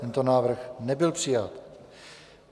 Tento návrh nebyl přijat.